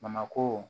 Bamakɔ